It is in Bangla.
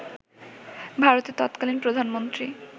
ভারতের তৎকালীন প্রধানমন্ত্রী